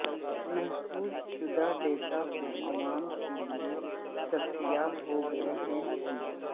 محفوظ شدہ ڈیٹا کو عوام کے لئے دستیاب ہو گئے ہیں کہ